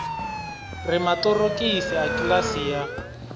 re maṱorokisi a kiḽasi ya